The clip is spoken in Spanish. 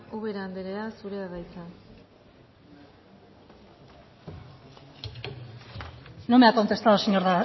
ubera anderea zurea da hitza no me ha contestado